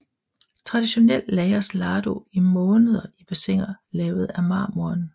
Traditionelt lagres lardo i måneder i bassiner lavet af marmoren